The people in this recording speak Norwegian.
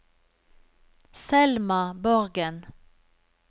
Selma Borgen